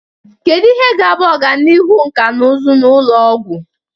Kedu ihe ga-abụ ọganihu nkà na ụzụ na ụlọ ọgwụ?